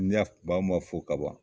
N yaf ban ma fo kaban